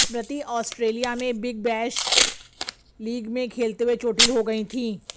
स्मृति Australia में Big Bash League में खेलते हुए चोटिल हो गयी थी